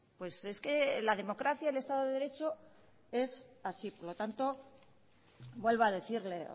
pues es que la democracia el estado de derecho es así por lo tanto vuelvo a decirle